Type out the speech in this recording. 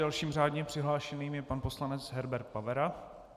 Dalším řádně přihlášeným je pan poslanec Herbert Pavera.